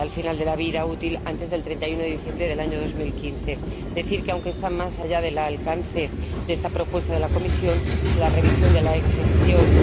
al final de la vida útil antes del 31 de diciembre del año 2015. Cabe señalar que, aunque está más allá del alcance de esta propuesta de la Comisión, la revisión de la exención